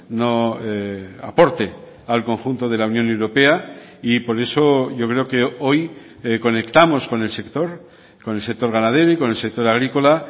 no aporte al conjunto de la unión europea y por eso yo creo que hoy conectamos con el sector con el sector ganadero y con el sector agrícola